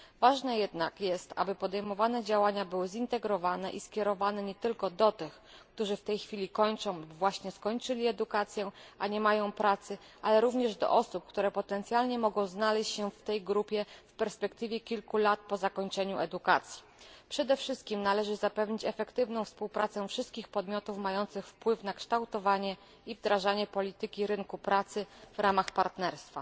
Ważne jednak jest, aby podejmowane działania były zintegrowane i skierowane nie tylko do tych, którzy w tej chwili kończą lub właśnie skończyli edukację, a nie mają pracy, ale również do osób, które potencjalnie mogą znaleźć się w tej grupie kilka lat po zakończeniu edukacji. Przede wszystkim należy zapewnić efektywną współpracę wszystkich podmiotów mających wpływ na kształtowanie i wdrażanie polityki rynku pracy w ramach partnerstwa.